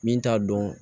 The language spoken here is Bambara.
Min t'a dɔn